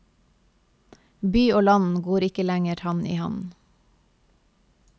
By og land går ikke lenger hand i hand.